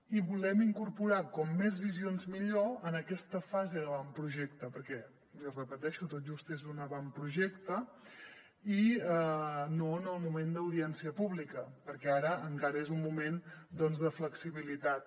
i volem incorporar com més visions millor en aquesta fase d’avantprojecte perquè l’hi repeteixo tot just és un avantprojecte i no en el moment d’audiència pública perquè ara encara és un moment doncs de flexibilitat